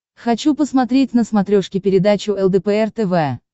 хочу посмотреть на смотрешке передачу лдпр тв